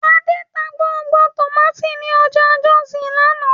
Adé ta gbogbo tòmátì ní ọjà Jọ́òsì lánàá